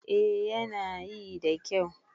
A yana yi da kyau